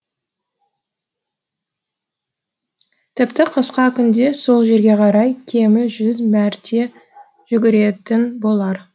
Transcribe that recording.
тіпті қысқа күнде сол жерге қарай кемі жүз мәрте жүгіретін болар